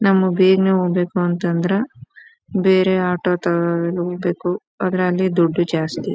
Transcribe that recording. ನಮ್ಮ್ಗ್ ಬೇಗನೆ ಹೋಗ್ಬೇಕು ಅಂತ ಅಂದ್ರ ಬೇರೆ ಆಟೋ ಹೋಗ್ಬೇಕು. ಆದ್ರೆ ಅಲ್ಲಿ ದುಡ್ದು ಜಾಸ್ತಿ.